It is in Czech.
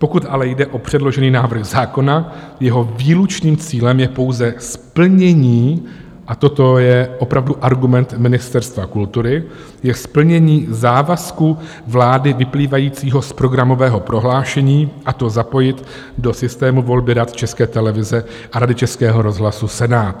Pokud ale jde o předložený návrh zákona, jeho výlučným cílem je pouze splnění - a toto je opravdu argument Ministerstva kultury - je splnění závazku vlády vyplývajícího z programového prohlášení, a to zapojit do systému volby Rad České televize a Rady Českého rozhlasu Senát.